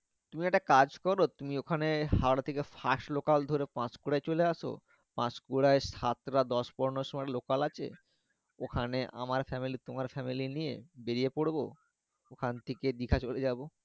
তুমি একটা কাজ করো তুমি ওখানে হাওড়া থেকে fast local ধরে পান্সকুরা চলে এস পান্সকুরা সাতটা দশ পনেরো সময় local আছে ওখানে আমার family তোমার family নিয়ে বেরিয়ে পড়বো ওখান থেকে দীঘা চলে যাবো